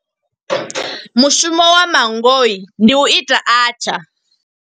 Mushumo wa manngo, ndi u ita atchaar.